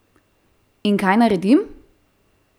In kaj naredim?